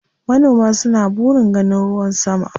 Manoma suna burin ganin ruwan sama.